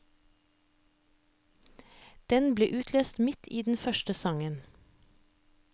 Den ble utløst midt i den første sangen.